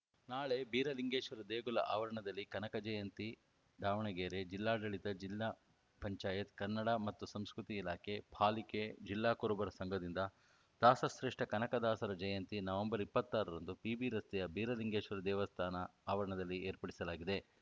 ನಾಳೆ ಬೀರಲಿಂಗೇಶ್ವರ ದೇಗುಲ ಆವರಣದಲ್ಲಿ ಕನಕ ಜಯಂತಿ ದಾವಣಗೆರೆ ಜಿಲ್ಲಾಡಳಿತ ಜಿಲ್ಲಾ ಪಂಚಾಯತ್ ಕನ್ನಡ ಮತ್ತು ಸಂಸ್ಕೃತಿ ಇಲಾಖೆ ಪಾಲಿಕೆ ಜಿಲ್ಲಾ ಕುರುಬರ ಸಂಘದಿಂದ ದಾಸಶ್ರೇಷ್ಠ ಕನಕ ದಾಸರ ಜಯಂತಿ ನವೆಂಬರ್ ಇಪ್ಪತ್ತ್ ಆರರಂದು ಪಿಬಿ ರಸ್ತೆಯ ಬೀರಲಿಂಗೇಶ್ವರ ದೇವಸ್ಥಾನ ಆವರಣದಲ್ಲಿ ಏರ್ಪಡಿಸಲಾಗಿದೆ